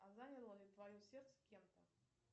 а заняло ли твое сердце кем то